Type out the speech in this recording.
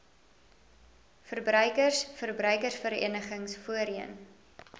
verbruikers verbruikersverenigings voorheen